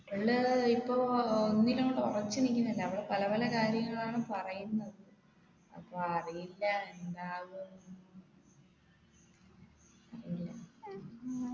അവള് ഇപ്പൊ ഒന്നിനോടും ഉറച്ചു നിക്കുന്നില്ല അവൾ പല പല കാര്യങ്ങളാണ് പറയുന്നത് അപ്പൊ അറിയില്ല എന്താകുന്ന്